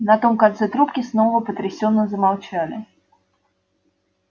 на том конце трубки снова потрясённо замолчали